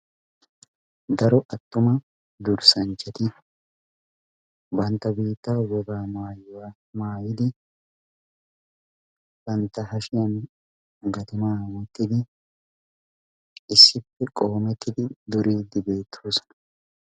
daro attuma durssanchchati bantta biittaa wogaa mayyuwa mayyidi bantta hashiyan gatimaa wottidi issippe qoomettidi duriiddi beettoosona.